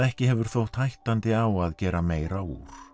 hefur þótt hættandi á að gera meira úr